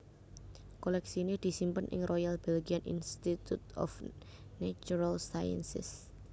Kolèksiné disimpen ing Royal Belgian Institute of Natural Sciences